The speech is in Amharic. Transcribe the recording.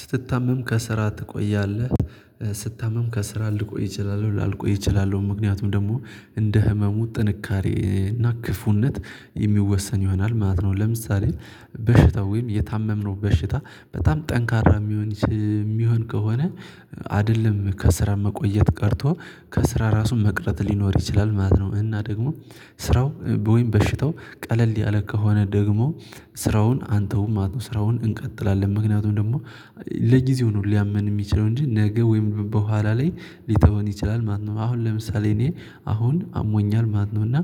ስትታመም ከስራ ትቆያለህ ስታመም ከስራ ልቆይ እችላለሁ ላልቆይ እችላለሁ ምክንያቱም ደግሞ እንደ ህመሙ ጥንካሬ እና ክፉነት የሚወሰን ይሆናል ማለት ነው። ለምሳሌ በሽታው ወይም የታመምነው በሽታ በጣም ጠንካራ የሚሆን የሚሆን ከሆነ አይደለም ከስራ መቆየት ቀርቶ ከስራ ራሱን መቅረት ሊኖር ይችላል ማለት ነው። እና ደግሞ ስራው ወይም በሽታው ቀለል ያለ ከሆነ ደግሞ ስራውን አንተውም ማለት ነው። ስራውን እንቀጥላለን ምክንያቱም ደግሞ ለጊዜው ነው ሊያመን የሚችለው እንጂ ነገ ወይም በኋላ ላይ ሊተወን ይችላል ማለት ነው። አሁን ለምሳሌ እኔ አሁን አሞኛል ማለት ነው። እና